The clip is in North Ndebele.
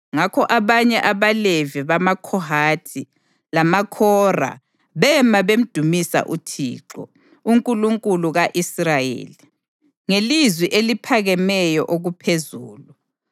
Ngakho abanye abaLevi bamaKhohathi, lamaKhora bema bamdumisa uThixo, uNkulunkulu ka-Israyeli, ngelizwi eliphakemeyo okuphezulu.